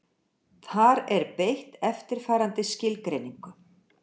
Þar er beitt eftirfarandi skilgreiningu: